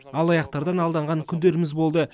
алаяқтардан алданған күндеріміз болды